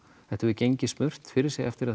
þetta hefur gengið smurt fyrir sig eftir að